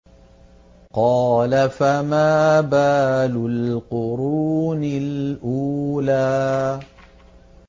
قَالَ فَمَا بَالُ الْقُرُونِ الْأُولَىٰ